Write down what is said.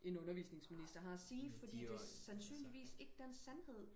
en undervisningsminister har og sige fordi det er sandssynligvis ikke den sandhed